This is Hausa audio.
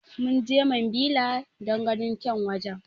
Munje mambila don ganin kyan wajen